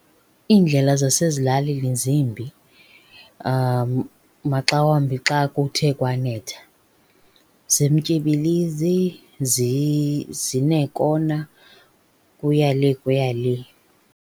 Iindlela zasezilalini zimbi. Maxa wambi xa kuthe kwanetha zimtyibilizi, zineekona, kuya le kuya le.